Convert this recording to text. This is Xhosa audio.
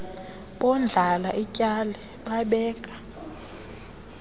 bondlala ityali babeka